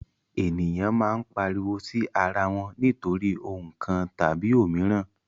Eniyan maa n pariwo si ara wọn nitori ohun kan tabi omiran